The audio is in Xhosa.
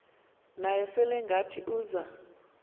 naye selengathi uza